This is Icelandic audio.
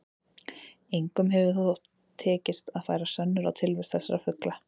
Engum hefur þó tekist að færa sönnur á tilvist þessara fugla.